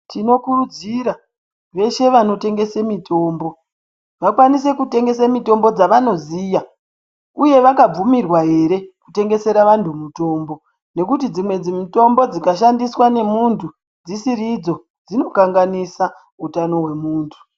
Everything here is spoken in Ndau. Tinokurudzira veshe vanotengese mitombo vakwanise kutengese mitombo dzavanoziya uye vakabvumirwa here kutengesera vantu mutombo, nekuti dzimwe mitombo dzikashandiswa nemuntu dzisidzo dzinokanganisa utano hwemunhu.